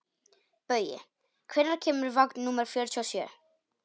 Baui, hvenær kemur vagn númer fjörutíu og sjö?